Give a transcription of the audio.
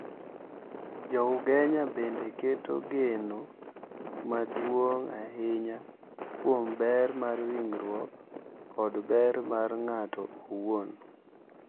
Jo Ugenya bende keto geno maduong’ ahinya kuom ber mar ringruok kod ber mar ng’ato owuon.